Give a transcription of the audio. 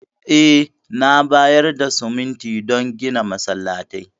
Eh, na bayar da siminti don gina masallatai.